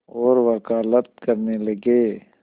और वक़ालत करने लगे